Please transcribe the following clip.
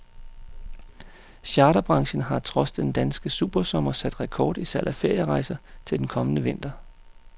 Charterbranchen har trods den danske supersommer sat rekord i salg af ferierejser til den kommende vinter.